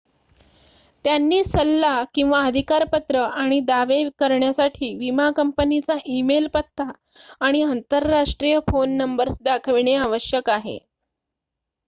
त्यांनी सल्ला/अधिकारपत्र आणि दावे करण्यासाठी विमा कंपनीचा ई-मेल पत्ता आणि आंतरराष्ट्रीय फोन नंबर्स दाखविणे आवश्यक आहे